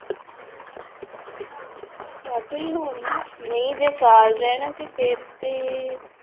ਵਾਧੂ ਹੀ ਹੋਣਗੇ ਨਹੀਂ ਜੇ ਸਾਲ ਰਹਿਣਾ ਤੇ ਫਿਰ ਤੇ